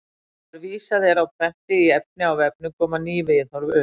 Þegar vísað er á prenti í efni á vefnum koma ný viðhorf upp.